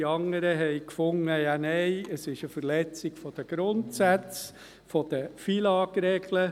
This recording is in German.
Die anderen fanden, es sei eine Verletzung der Grundsätze, der FILAG-Regeln.